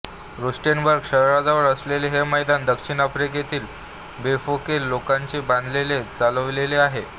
Rustenburg शहराजवळ असलेले हे मैदान दक्षिण आफ्रिकेतील बफोकेंग लोकांनी बांधले व चालिवलेले आहे